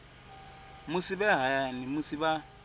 musi vhe hayani musi vha